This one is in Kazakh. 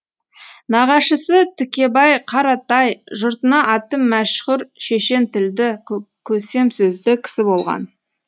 нағашысы тікебай қаратай жұртына аты мәшһүр шешен тілді көсем сөзді кісі болған